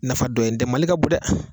Nafa dɔw ye n tɛ mali ka bon dɛ